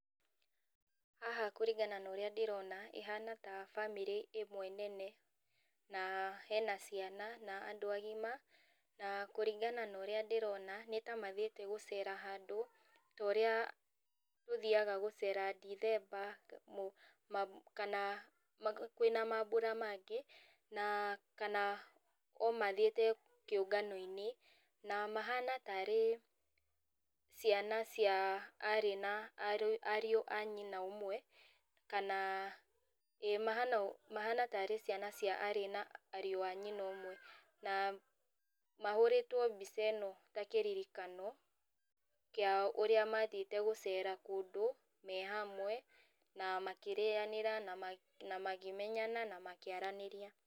Haha kũringana na ũrĩa ndĩrona, ihana ta bamĩrĩ ĩmwe nene, na hena ciana, na andũ agima, na kũringana na ũrĩa ndĩrona, nĩtamathiĩte gũcera handũ, ta ũrĩa tũthiaga gũcera dĩthemba, kana kwĩna mabũra mangĩ, na kana o mathiĩte kĩũnganoinĩ, na mahana tarĩ ciana cia arĩ na ariũ ariũ a nyina ũmwe, kana ĩ mahana mahana tarĩ ciana cia arĩ na ariũ a nyina ũmwe, na mahũrĩtwo mbica ĩno na kĩririkano, kĩa ũrĩa mathiĩte gũcera kũndũ, me hamwe, na makĩrĩanĩra, na ma makĩmenyana, na makĩaranĩria.